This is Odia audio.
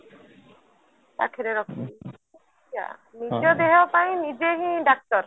ପାଖରେ ରଖିବି ନିଜ ଦେହ ପାଇଁ ନିଜେ ହିଁ ଡାକ୍ତର